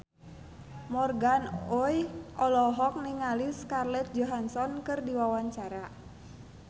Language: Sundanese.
Morgan Oey olohok ningali Scarlett Johansson keur diwawancara